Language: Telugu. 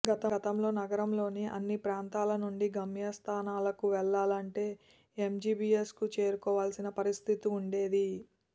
గతంలో నగరంలోని అన్ని ప్రాంతాల నుంచి గమ్యస్థానాలకు వెళ్లాలంటే ఎంజీబీఎస్కు చేరుకోవాల్సిన పరిస్థితి ఉండేది